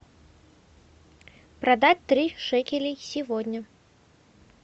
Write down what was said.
продать три шекелей сегодня